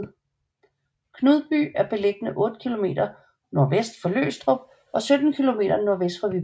Knudby er beliggende otte kilometer nordvest for Løgstrup og 17 kilometer nordvest for Viborg